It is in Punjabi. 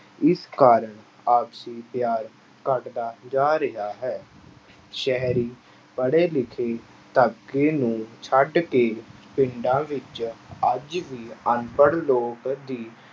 ਇਸ ਕਾਰਨ ਆਪਸੀ ਪਿਆਰ ਘੱਟਦਾ ਜਾ ਰਿਹਾ ਹੈ, ਸ਼ਹਿਰੀ ਪੜ੍ਹੇ ਲਿਖੇ ਨੂੰ ਛੱਡ ਕੇ ਪਿੰਡਾਂ ਵਿੱਚ ਅੱਜ ਵੀ ਅਨਪੜ੍ਹ ਲੋਕ ਦੀ